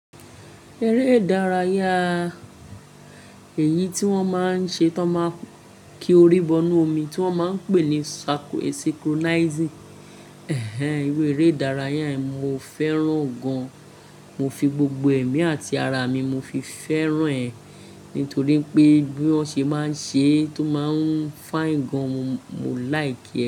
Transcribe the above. Eré ìdárayá, èyí tí wọ́n máa ń ṣe tọ máa kí orí bọ inú omi tí wọ́n máa ń pè ní circle e synchronizing, ẹ̀hẹ̀n, iru eré ìdárayá yẹn mo fẹ́ràn gan. Mo fi gbogbo ẹ̀mí àti ara mi mo fi fẹ́ràn ẹ nítorí pé bí wọ́n ṣe máa ń ṣe é tó máa ń fine gan mo mo, mo like ẹ.